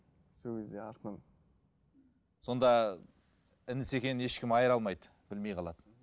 сол кезде артынан сонда інісі екенін ешкім айыра алмайды білмей қалады